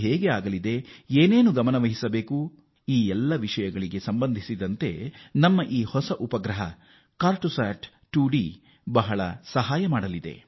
ನಮ್ಮ ಜಲ ಮೂಲಗಳಲ್ಲಿ ಎಷ್ಟು ಪ್ರಮಾಣದ ನೀರಿದೆ ಅದನ್ನು ಹೇಗೆ ಉತ್ತಮವಾಗಿ ಬಳಸಿಕೊಳ್ಳಬಹುದು ಈ ನಿಟ್ಟಿನಲ್ಲಿ ಗಮನದಲ್ಲಿಟ್ಟುಕೊಳ್ಳಬೇಕಾದ ಅಂಶಗಳೇನು ಎಂಬುದನ್ನು ತಿಳಿಸುತ್ತದೆ